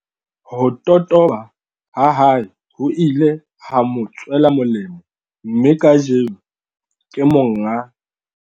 Ho totoba ha hae ho ile ha mo tswela molemo mme kajeno, ke monga.